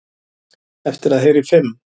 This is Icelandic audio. Eftir að heyra í fimm